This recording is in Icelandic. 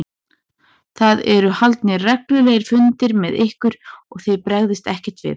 Það eru haldnir reglulegir fundir með ykkur og þið bregðist ekkert við?